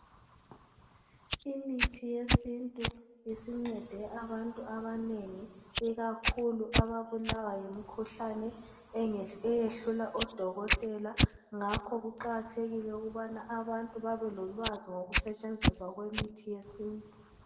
Imithi yesintu isincede abantu abanengi ikakhulu ababulawa yimkhuhlane eyehlula odokotela ngakho kuqakathekile ukubana abantu babelolwazi ngokusetshenziswa kwemithi yesintu.